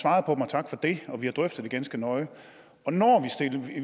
og tak for det vi har drøftet det ganske nøje og når